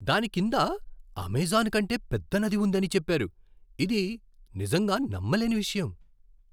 దాని కింద అమెజాన్ కంటే పెద్ద నది ఉందని చెప్పారు. ఇది నిజంగా నమ్మలేని విషయం!